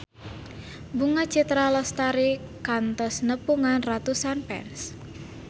Bunga Citra Lestari kantos nepungan ratusan fans